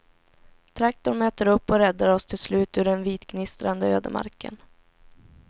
Traktorn möter upp och räddar oss till slut ur den vitgnistrande ödemarken.